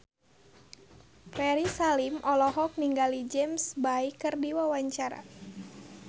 Ferry Salim olohok ningali James Bay keur diwawancara